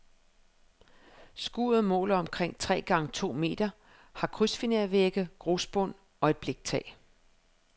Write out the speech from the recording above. Skuret måler omkring tre gange to meter, har krydsfinervægge, grusbund og et bliktag.